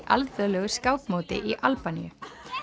alþjóðlegu skákmóti í Albaníu